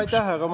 Aitäh!